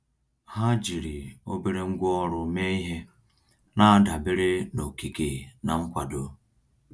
Ha jiri obere ngwá ọrụ mee ihe, na-adabere na okike na nkwado.